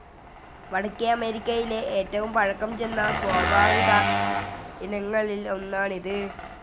വടക്കേ അമേരിക്കയിലെ ഏറ്റവും പഴക്കം ചെന്ന സ്വാഭാവിക ഇനങ്ങളിൽ ഒന്നാണ് ഇത്.